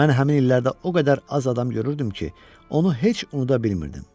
Mən həmin illərdə o qədər az adam görürdüm ki, onu heç unuda bilmirdim.